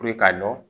k'a dɔn